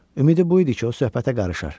Ümidi bu idi ki, o söhbətə qarışar.